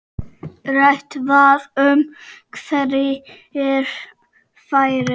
Rætt var um hverjir færu.